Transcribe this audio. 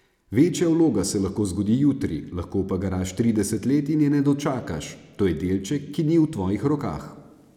Večja vloga se lahko zgodi jutri, lahko pa garaš trideset let in je ne dočakaš, to je delček, ki ni v tvojih rokah.